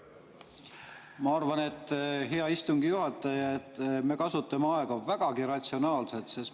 Ma arvan, hea istungi juhataja, et me kasutame aega vägagi ratsionaalselt.